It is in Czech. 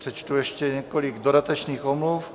Přečtu ještě několik dodatečných omluv.